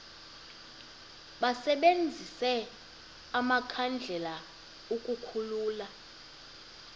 basebenzise amakhandlela ukukhulula